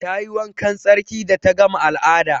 Ta yi wankan tsarki da ta gama al'ada.